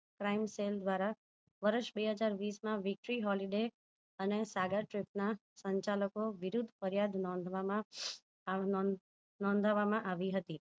Crime cell દ્વારા વર્ષ બેહજાર વિસ માં weektree holiday અને સાગર trip ના સંચાલકો વિરુધ ફરિયાદ નોધવામાં નોધ નોધવામાં આવી હતી